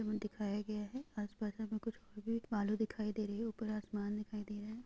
दिखाया गया है आस पास हमें कुछ और भी दिखाई दे रही है ऊपर आसमन दिखाई दे रहा है।